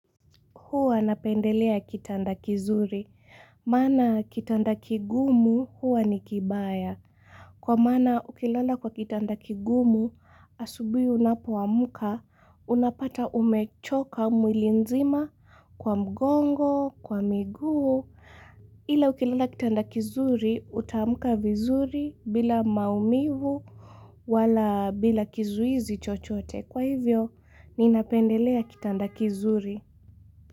Huwa napendelea kitanda kizuri. Maana kitanda kigumu huwa ni kibaya. Kwa maana ukilala kwa kitanda kigumu, asubuhi unapoamka, unapata umechoka mwili mzima kwa mgongo, kwa miguu. Ila ukilala kitanda kizuri, utaamka vizuri bila maumivu wala bila kizuizi chochote. Kwa hivyo, ninapendelea kitanda kizuri.